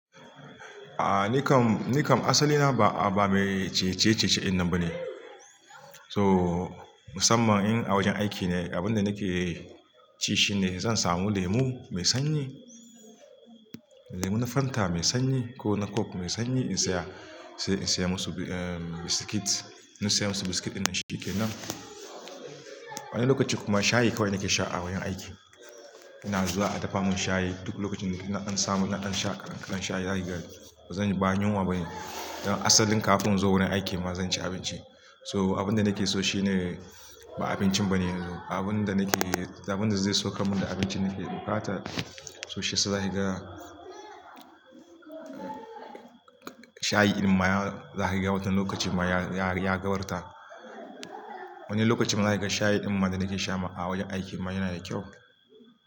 A nikam, nikam asali na ba, a ba me cece-cece in nan ba ne. So, musamman in a wajen aiki ne, abin da nake ci shi ne zan samu lemu mai sanyi, lemu na Fanta mai sanyi ko na Coke mai sanyi in saya, sai in saya musu, eh, biskit. In saya musu biskit ɗin shine ke nan. Wani lokaci kuma shayi kawai nake sha a wajen aiki. Ina zuwa a dafa mun shayi, duk lokacin da na an samu naɗin sha, naɗin sha zai ga. Ba zan, ba yinwa ba ne. Don asalin kafin in zo wurin aiki ma zan ci abinci. So abin da nake so shi ne ba abincin ba ne yanzu. Abin da nake, abin da zai saukar min da abinci nake buƙata. So shi sa zai ga shayi ɗin mayan zai ga wata lokaci mayan ya, ya gabarta. Wani lokacin ma zai ga shayi ɗin mayan da nake sha ma a wajen aiki mana yana da kyau.